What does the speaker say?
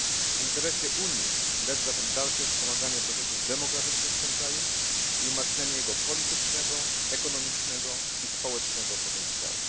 W interesie Unii leży zatem dalsze wspomaganie procesów demokratycznych w tym kraju i umacnianie jego politycznego, ekonomicznego i społecznego potencjału.